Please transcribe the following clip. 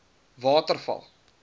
waterval